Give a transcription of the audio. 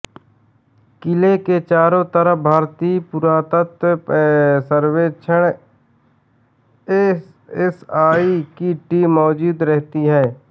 किले के चारों तरफ भारतीय पुरातत्व सर्वेक्षण एएसआई की टीम मौजूद रहती हैं